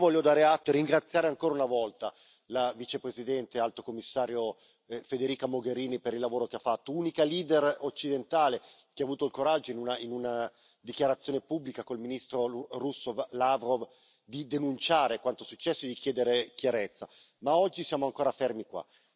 Io voglio dare atto e ringraziare ancora una volta la Vicepresidente e Alto commissario Federica Mogherini, per il lavoro che ha fatto, unica leader occidentale che ha avuto il coraggio in una dichiarazione pubblica con il ministro russo Lavrov di denunciare quanto successo e di chiedere chiarezza, ma oggi siamo ancora fermi qua.